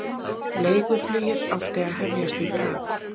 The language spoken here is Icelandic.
Leiguflugið átti að hefjast í dag